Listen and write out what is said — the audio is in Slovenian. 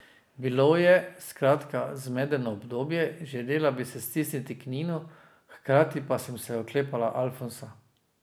Bilo je, skratka, zmedeno obdobje, želela bi se stisniti k Ninu, hkrati pa sem se oklepala Alfonsa.